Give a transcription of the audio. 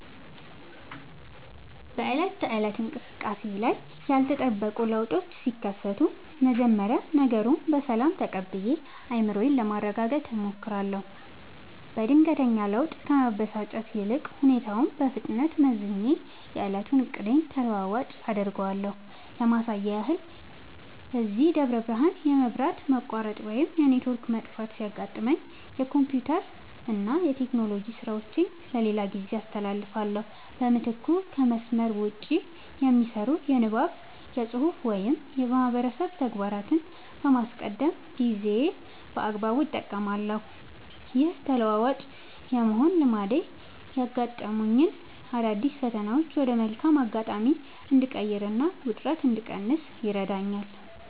በዕለት ተዕለት እንቅስቃሴዬ ላይ ያልተጠበቁ ለውጦች ሲከሰቱ፣ መጀመሪያ ነገሩን በሰላም ተቀብዬ አእምሮዬን ለማረጋጋት እሞክራለሁ። በድንገተኛ ለውጥ ከመበሳጨት ይልቅ፣ ሁኔታውን በፍጥነት መዝኜ የዕለቱን ዕቅዴን ተለዋዋጭ (Flexible) አደርገዋለሁ። ለማሳያ ያህል፣ እዚህ ደብረ ብርሃን የመብራት መቆራረጥ ወይም የኔትወርክ መጥፋት ሲያጋጥመኝ፣ የኮምፒውተርና የቴክኖሎጂ ሥራዎቼን ለሌላ ጊዜ አስተላልፋለሁ። በምትኩ ከመስመር ውጭ (Offline) የሚሰሩ የንባብ፣ የፅሁፍ ወይም የማህበረሰብ ተግባራትን በማስቀደም ጊዜዬን በአግባቡ እጠቀማለሁ። ይህ ተለዋዋጭ የመሆን ልማዴ ያጋጠሙኝን አዳዲስ ፈተናዎች ወደ መልካም አጋጣሚ እንድቀይርና ውጥረት እንድቀንስ ይረዳኛል።